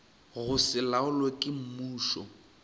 go se laolwe ke mmušo